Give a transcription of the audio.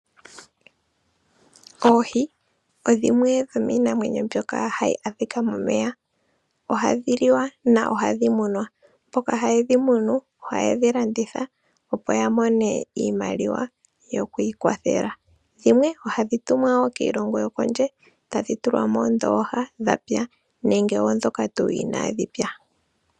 Oohi odhimwe dho miinamwenyo mbyoka hayi adhika momeya. Ohadhi liwa, na ohadhi munwa, mboka haye dhi munu, ohaye dhi landitha, opo ya mone iimaliwa yoku ikwathela. Dhimwe ohadhi tumwa wo kiilongo yokondje, tadhi tulwa moondoha dha pya nenge odhoka tu inadhi pya.